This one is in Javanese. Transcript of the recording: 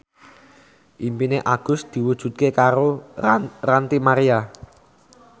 impine Agus diwujudke karo Ranty Maria